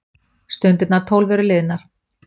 Stundirnar tólf eru liðnar.